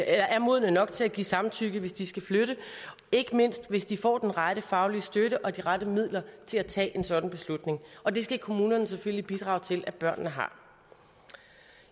er modne nok til at give samtykke hvis de skal flytte ikke mindst hvis de får den rette faglige støtte og de rette midler til at tage en sådan beslutning og det skal kommunerne selvfølgelig bidrage til at børnene har